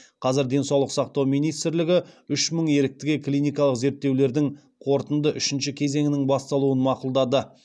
қазір денсаулық сақтау министрлігі үш мың еріктіге клиникалық зерттеулердің қорытынды үшінші кезеңінің басталуын мақұлдады